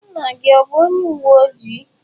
Nna gi o bu onye uwe ojii?